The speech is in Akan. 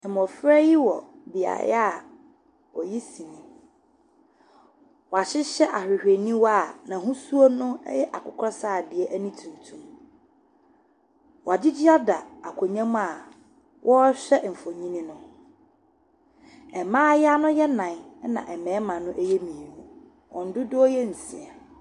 Mmɔfra yi wɔ beaeɛ a woyi sini, wɔahyehyɛ ahwehwɛniwa a n’ahosuo no yɛ akokɔsradeɛ ne tuntum. Wɔagyegye ada akonnwa mu a wɔrehwɛ mfonini no. mmaayewa no yɛ nnan na mmarima no yɛ mmienu, wɔn dodoɔ no yɛ nsia.